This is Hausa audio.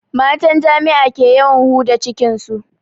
Matan jami'a ke yawan huda jikin su